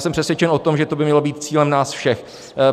Jsem přesvědčen o tom, že to by mělo být cílem nás všech.